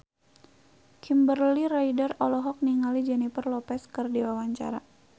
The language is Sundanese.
Kimberly Ryder olohok ningali Jennifer Lopez keur diwawancara